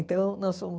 Então, nós fomos...